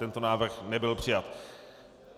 Tento návrh nebyl přijat.